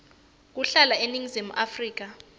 kuhlala eningizimu afrika